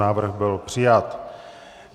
Návrh byl přijat.